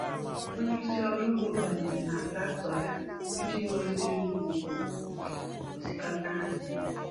Onye isi ọrụ ugbo banyere na traktọ ya iji gọzie ngwugwu osikapa anyị.